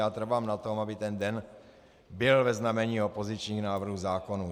Já trvám na tom, aby ten den byl ve znamení opozičních návrhů zákonů.